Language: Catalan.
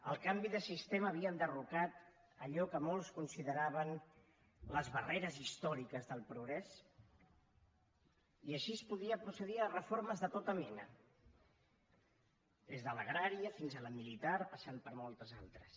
el canvi de sistema havia enderrocat allò que molts consideraven les barreres històriques del progrés i així es podia procedir a reformes de tota mena des de l’agrària fins a la militar passant per moltes altres